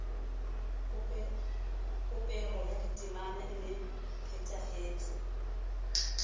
popeho ya ditemana e nepahetse